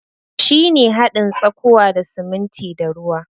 Shi ne hadin tsakuwa da sumuntin da ruwa.